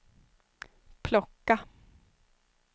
plocka